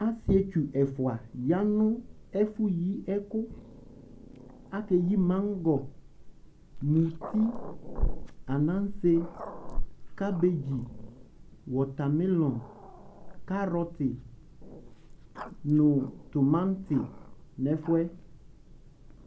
Asɩetsu ɛfʋa ya nʋ efʋ yi ɛkʋ Aka eyi maŋgɔ, muti, anaŋse, kabedzi, wɔtamilɔŋ, karɔtɩ nʋ tumaŋtɩ nʋ ɛfʋ yɛ